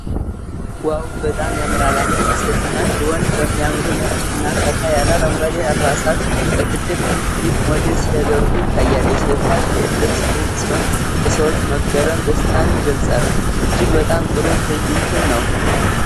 ዋው፣ በጣም ያምራል! አንዲት ሴትና አንድ ወንድ በሚያማምሩ ነጭና ፈካ ያለ አረንጓዴ አልባሳት፣ በትልቅ ህዝብ ፊት ሞዴል ሲያደርጉ ይታያሉ። የሴቷ ልብስ ድንቅ ሲሆን፣ የሰዎች መገረም ደስታን ይገልጻል። እጅግ በጣም ጥሩ ትዕይንት ነው።